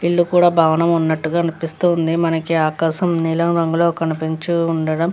ఇల్లు కూడా భవనం ఉన్నట్టు గా అనిపిస్తూ ఉంది మనకి ఆకాశము నీలం రంగులో కనిపించి ఉండడం.